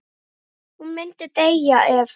Hún myndi deyja ef.